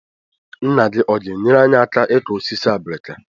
Nna gị ọ̀ ga-enyere anyị aka ịkụ osisi obrika?